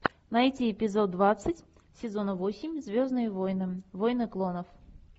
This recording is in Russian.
найти эпизод двадцать сезона восемь звездные войны войны клонов